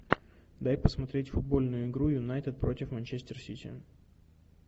дай посмотреть футбольную игру юнайтед против манчестер сити